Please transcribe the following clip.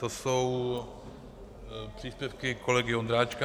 To jsou příspěvky kolegy Ondráčka.